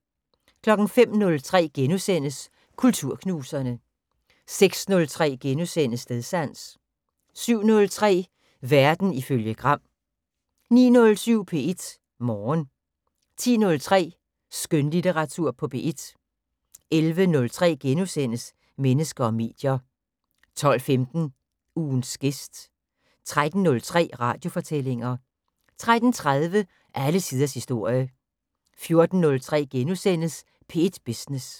05:03: Kulturknuserne * 06:03: Stedsans * 07:03: Verden ifølge Gram 09:07: P1 Morgen 10:03: Skønlitteratur på P1 11:03: Mennesker og medier * 12:15: Ugens gæst 13:03: Radiofortællinger 13:30: Alle tiders historie 14:03: P1 Business *